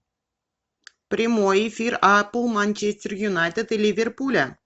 прямой эфир апл манчестер юнайтед и ливерпуля